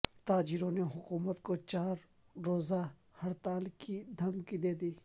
تاجروں نے حکومت کو چار روزہ ہڑتال کی دھمکی دے دی